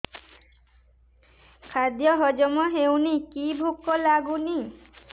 ଖାଦ୍ୟ ହଜମ ହଉନି କି ଭୋକ ଲାଗୁନି